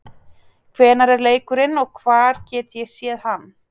Hvenær er leikurinn og hvar get ég séð hann?